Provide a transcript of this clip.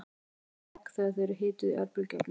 af hverju springa egg þegar þau eru hituð í örbylgjuofni